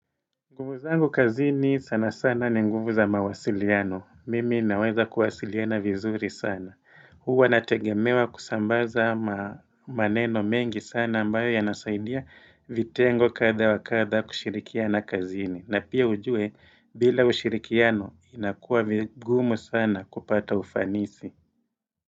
Nguvu zangu kazini sana sana ni nguvu za mawasiliano. Mimi naweza kuwasiliana vizuri sana. Huwa nategemewa kusambaza maneno mengi sana ambayo yanasaidia vitengo katha wakatha kushirikiana kazini. Na pia ujue bila ushirikiano inakuwa vigumu sana kupata ufanisi.